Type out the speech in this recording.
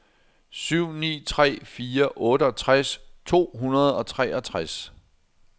syv ni tre fire otteogtres to hundrede og treogtres